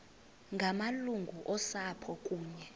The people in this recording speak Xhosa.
ngamalungu osapho kunye